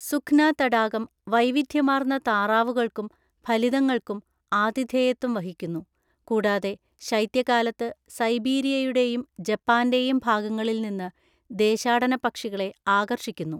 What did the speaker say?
സുഖ്‌ന തടാകം വൈവിധ്യമാർന്ന താറാവുകൾക്കും ഫലിതങ്ങൾക്കും ആതിഥേയത്വം വഹിക്കുന്നു, കൂടതെ ശൈത്യകാലത്ത് സൈബീരിയയുടെയും ജപ്പാന്റെയും ഭാഗങ്ങളിൽ നിന്ന് ദേശാടന പക്ഷികളെ ആകർഷിക്കുന്നു.